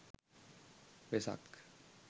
vesak